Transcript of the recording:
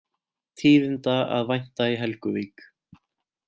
Tíðinda að vænta í Helguvík